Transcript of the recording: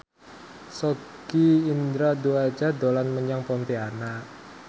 Sogi Indra Duaja dolan menyang Pontianak